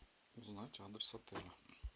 узнать адрес отеля